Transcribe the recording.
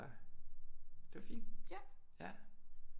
Det var fint ja